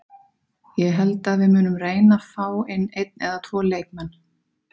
Ég held að við munum reyna fá inn einn eða tvo leikmenn.